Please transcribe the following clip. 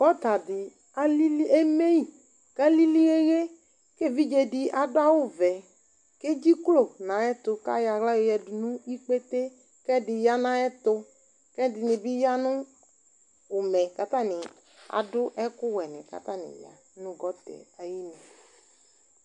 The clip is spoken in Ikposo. Gɔta dɩ alili, eme yɩ kʋ alili ɣeɣe kʋ evidze dɩ adʋ awʋvɛ kʋ edziklo nʋ ayɛtʋ kʋ ayɔ aɣla yɔyǝdu nʋ ikpete kʋ ɛdɩ ya nʋ ayɛtʋ kʋ ɛdɩnɩ bɩ ya nʋ ʋmɛ kʋ atanɩ adʋ ɛkʋwɛnɩ kʋ atanɩ ya nʋ gɔta yɛ ayinu